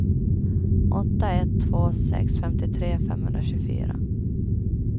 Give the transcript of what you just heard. åtta ett två sex femtiotre femhundratjugofyra